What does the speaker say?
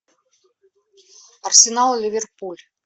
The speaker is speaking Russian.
арсенал ливерпуль